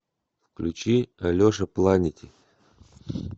включи алеша планети